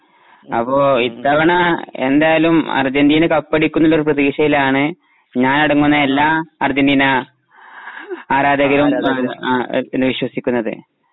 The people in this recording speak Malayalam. അപ്പൊ ഇത്തവണ എന്തായാലും അർജന്റീനാ കപ്പടിക്കുമെന്നുള്ള ഒരു പ്രതീക്ഷയിലാണ് ഞാൻ അടങ്ങുന്ന എല്ലാ അർജന്റീനാ ആരാധകരും വിശ്വസിക്കുന്നത്.